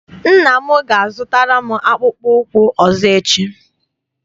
Nne m ga- azụtara m akpụkpọ ụkwụ ọzọ echi.